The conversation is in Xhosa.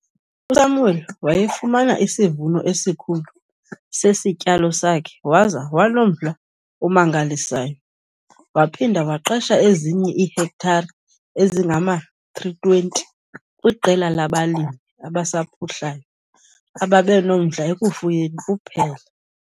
USamuel wayefumana isivuno esikhulu sesityalo sakhe waza wanomdla omangalisayo. Waphinda waqesha ezinye iihektare ezingama-320 kwiqela labalimi abasaphuhlayo ababenomdla ekufuyeni kuphela.